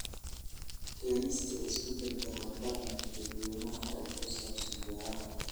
Keenista isbeddelka hab-dhaqanka dadweynaha ee ku saabsan beeraha.